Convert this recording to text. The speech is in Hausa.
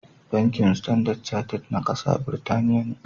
Bankin Standard Charted na kasa Birtaniya ne.